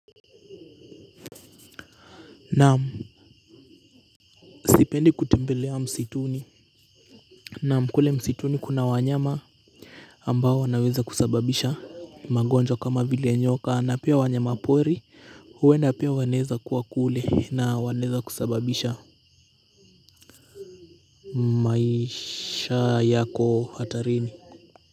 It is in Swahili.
Naam sipendi kutembelea msituni. Naam kule msituni kuna wanyama ambao wanaweza kusababisha magonjwa kama vile nyoka na pia wanyama pori huenda pia wanaeza kuwa kule na wanaeza kusababisha maisha yako hatarini.